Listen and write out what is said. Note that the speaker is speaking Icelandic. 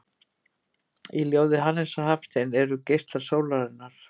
Í ljóði Hannesar Hafstein eru geislar sólarinnar